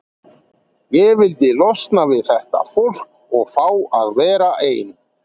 Ég vildi losna við þetta fólk og fá að vera ein.